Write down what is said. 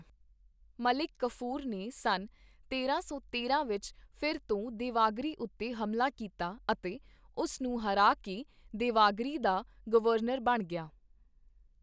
ਮਲਿਕ ਕਾਫ਼ੂਰ ਨੇ ਸੰਨ ਤੇਰਾਂ ਸੌ ਤੇਰਾਂ ਵਿੱਚ ਫਿਰ ਤੋਂ ਦੇ ਵਗਿਰੀ ਉੱਤੇ ਹਮਲਾ ਕੀਤਾ ਅਤੇ ਉਸ ਨੂੰ ਹਰਾ ਕੇ ਦੇ ਵਗਿਰੀ ਦਾ ਗਵਰਨਰ ਬਣ ਗਿਆ।